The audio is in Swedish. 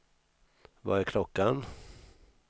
Vad är klockan